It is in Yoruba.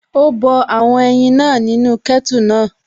Ó bọ àwọn ẹyin náà nínú kẹ́tù náà